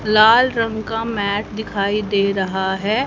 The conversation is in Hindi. लाल रंग का मैट दिखाई दे रहा है।